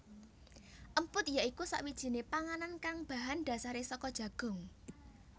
Emput ya iku sakwijiné panganan kang bahan dasaré saka jagung